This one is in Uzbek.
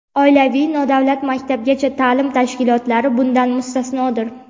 oilaviy nodavlat maktabgacha taʼlim tashkilotlari bundan mustasnodir.